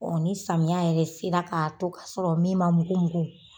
ni samiya yɛrɛ sera k'a to kasɔrɔ min ma mugu mugu